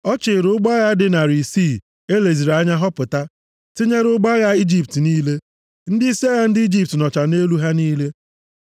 Ọ chịịrị ụgbọ agha dị narị isii e leziri anya họpụta, tinyere ụgbọ agha Ijipt niile. Ndịisi agha ndị Ijipt nọcha nʼelu ha niile.